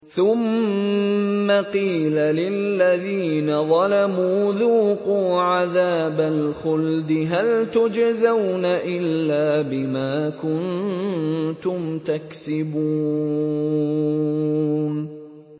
ثُمَّ قِيلَ لِلَّذِينَ ظَلَمُوا ذُوقُوا عَذَابَ الْخُلْدِ هَلْ تُجْزَوْنَ إِلَّا بِمَا كُنتُمْ تَكْسِبُونَ